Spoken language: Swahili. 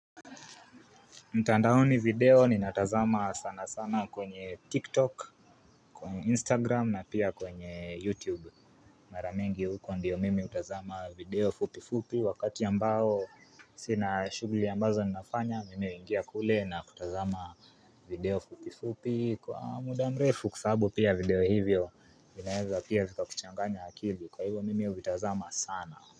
Ntandaoni video ni natazama sana sana kwenye TikTok, Instagram na pia kwenye YouTube. Mara mingi huko ndiyo mimi hutazama video fupi fupi wakati ambao sina shughuli ambazo ninafanya nimeingia kule na kutazama video fupi fupi kwa muda mrefu kwa sababu pia video hivyo zinaweza pia vika kuchanganya akili kwa hivyo mimi huvitazama sana.